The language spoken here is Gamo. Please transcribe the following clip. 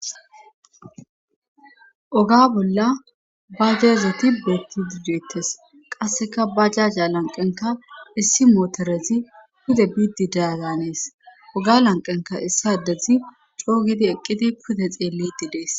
oga bolla bajajeti beettidi dettes qasseka bajajja lanqenka issi mootorezi pude biidi daazanees oga lanqenka issadezi coogidi eqqidi pude xeelli didees